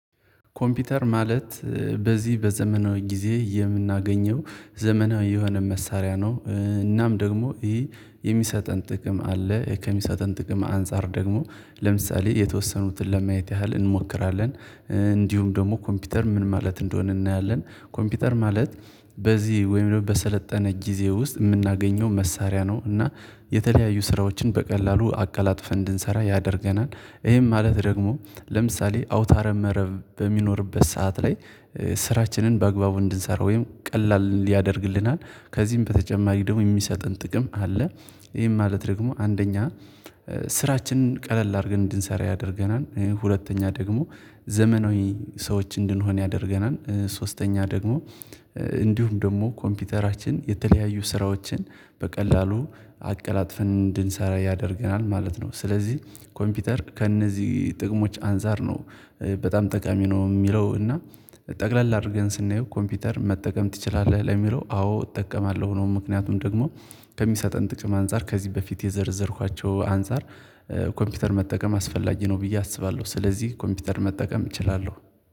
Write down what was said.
ኮምፒውተር ማለት በዚህ በዘመናዊ ጊዜ የምናገኘው ዘመናዊ የሆነ መሳሪያ ነው። እናም ደግሞ ይሄ የሚሰጠን ጥቅም አለ ከሚሰጠን ጥቅም አንፃር ደግሞ ለምሳሌ የተወሰኑትን ለማየት ያህል እንሞክራለን፤ እንዲሁም ደግሞ ኮምፒውተር ምን ማለት እንደሆነ እናያለን። ኮምፒውተር ማለት በዚህ ወይም ደግሞ በሰለጠነ ጊዜ ውስጥ የምናገኘው መሳሪያ ነው። እና የተለያዩ ስራዎችን በቀላሉ አቀላጥፈን እንድንሰራ ያደርገናል። ይሄም ማለት ደግሞ ለምሳሌ አውታረ መረብ በሚኖርበት ሰዓት ላይ ስራችንን በአግባቡ እንድንሰራ ወይም ቀላል ሊያደርግልናል ከዚህም በተጨማሪ ደግሞ የሚሰጥን ጥቅም አለ። ይሄን ማለት ደግሞ አንደኛ ስራችንን ቀለል አርገን እንድንሰራ ያደርገናል፥ ሁለተኛ ደግሞ ዘመናዊ ሰዎች እንድንሆን ያደርገናል፥ ሶስተኛ ደግሞ እንዲሁም ደግሞ ኮምፒውተራችን የተለያየ ስራዎችን በቀላሉ አቀላጥፈን እንድንሰራ ያደርገናል ማለት ነው። ስለዚህ ኮምፒውተር ከእነዚህ ጥቅሞች አንፃር ነው በጣም ጠቃሚ ነው የሚለው እና ጠቅለል አድርገን ስናየው ኮምፒውተር መጠቀም ትችላለህ? ለሚለው አዎ እጠቀማለሁ ሆኖም ምክንያቱም ደግሞ ከሚሰጠን ጥቅም አንፃር ከዚህ በፊት የዘረዘርኳቸው አንፃር ኮምፒውተር መጠቀም አስፈላጊ ነው ብዬ አስባለሁ። ስለዚህ ኮምፒውተር መጠቀም እችላለሁ።